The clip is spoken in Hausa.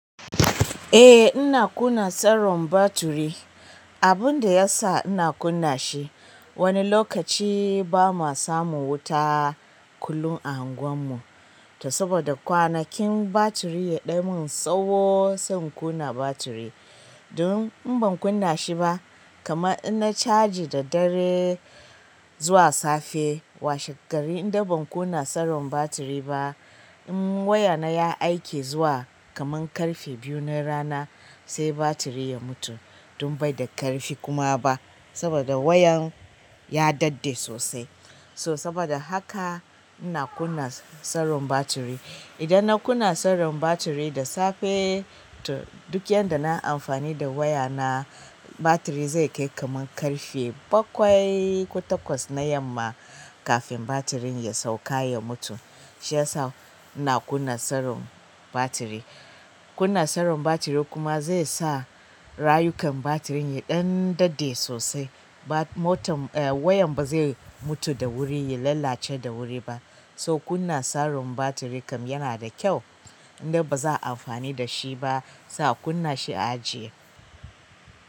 Eh ina kunna tsaron batiri. Abun da ya sa ina kunna shi, wani lokaci bama samun wuta kullum a unguwar mu. To saboda kwanakin batiri ya ɗan min tsawo zan kunna batiri. Don in ban kunna shi ba, kamar inna caji da dare zuwa safe. Washe gari indai ban kunna tsaron batiri ba, in wayana ya aiki zuwa kaman ƙarfe biyu na rana sai batiri ya mutu don baida ƙarfi kuma ba. Saboda wayan ya daɗe sosai. So saboda haka ina kunna tsaron batiri. Idan na kunna tsaron batiri da safe, to duk yanda na amfani da waya na, batiri zai kai kaman ƙarfe bakwai ko takwas na yamma kafin batirin ya sauka ya mutu. Shi ya sa ina kunna tsaron batiri. Kunna tsaron batiri kuma zai sa rayukan batirin ya ɗan daɗe sosai. Wayan ba zai mutu da wuri, ya lalace da wuri ba. So kunna tsaron batiri kam yana da kyau. Idan ba za a amfani da shi ba, sai a kunna shi a ajiye.